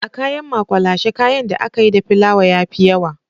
A kayan makwalashe kayan da ake yi da filawa ya fi yawa